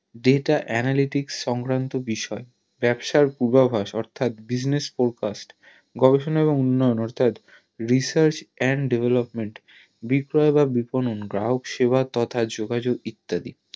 data analytics সংক্রান্ত বিষয় ব্যাবসার পূর্বাভাস অর্থাৎ business forecast গবেষণা এবং উন্নয়ন অর্থাৎ Research and Development বিষয় গ্রাহক সেবা তথা যোগাযোগ ইত্যাদি